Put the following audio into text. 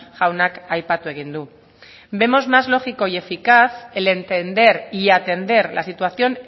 jaunak aipatu egin du vemos más lógico y eficaz el entender y atender la situación